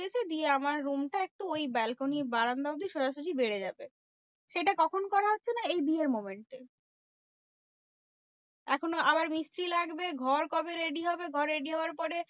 দিয়ে আমার room টা একটু ওই balcony বারান্দা অব্দি সোজাসোজি বেড়ে যাবে। সেটা কখন করা হচ্ছে না এই বিয়ের moment এ? এখনো আবার মিস্ত্রি লাগবে। ঘর কবে ready হবে? ঘর ready হওয়ার পরে